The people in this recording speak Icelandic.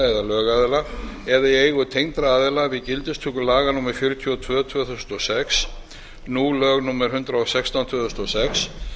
eða lögaðila eða í eigu tengdra aðila við gildistöku laga númer fjörutíu og tvö tvö þúsund og sex nú lög númer hundrað og sextán tvö þúsund og sex